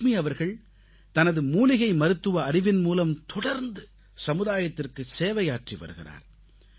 லக்ஷ்மி அவர்கள் தனது மூலிகை மருத்துவ அறிவின் மூலம் தொடர்ந்து சமுதாயத்திற்கு சேவையாற்றி வருகிறார்